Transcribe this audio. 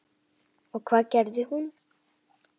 Og hvað gerði hún?